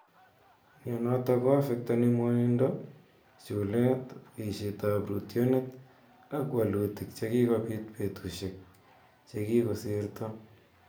Mianotok koaffektani mwanindo, chulet poishetap rootyonet , ak walutik chekikopit petushek che kikosirta.